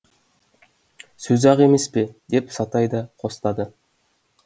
сөз ақ емес пе деп сатай да қостады